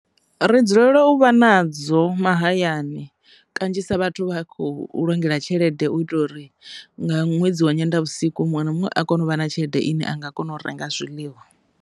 Ri dzulela u vha nadzo mahayani kanzhisa vhathu vha a khou vhulungela tshelede u itela uri nga ṅwedzi wa Nyendavhusiku muṅwe na muṅwe a kone u vha na tshelede ine a nga kona u renga zwiḽiwa.